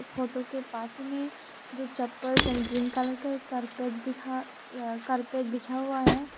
Photo के पास में दो चप्पल्स ग्रीन कलर का एक कारपेट दिखा कारपेट बिछा हुआ है।